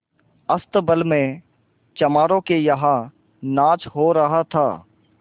अस्तबल में चमारों के यहाँ नाच हो रहा था